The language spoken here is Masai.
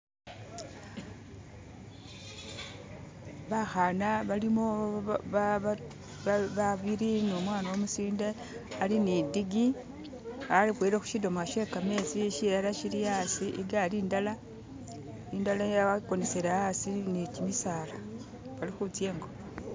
bahana balimo babili ni umwana umusinde ali nidigi ahuhileho shidomolo shekametsi shilala shili asi igali indala akonesele asi nikyimisaala balihutsengo